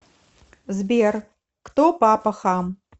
сбер кто папа хам